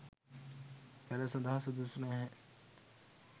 පැළ සඳහා සුදුසු නැහැ.